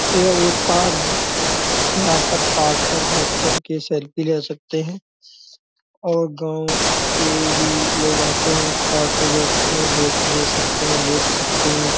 यह एक पॉड है। यहाँ पर पॉड पर बैठ कर के सेल्फी ले सकते हैं और गांव के भी लोग आते है पॉड पे बैठते हैं। धुप ले सकते हैं लेट सकते हैं।